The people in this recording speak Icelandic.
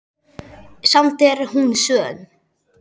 Samt er hún söm.